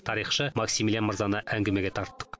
тарихшы максимилиан мырзаны әңгімеге тарттық